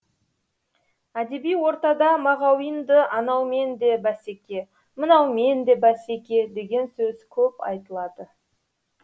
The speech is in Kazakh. әдеби ортада мағауинді анаумен де бәсеке мынаумен де бәсеке деген сөз көп айтылады